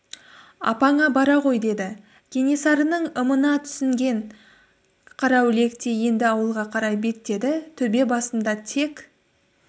апаңа бара ғой деді кенесарының ымына түсінген қараүлек те енді ауылға қарай беттеді төбе басында тек